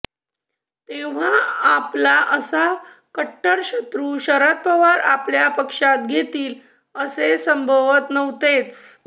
तेव्हा आपला असा कट्टर शत्रू शरद पवार आपल्या पक्षात घेतील असे संभवत नव्हतेच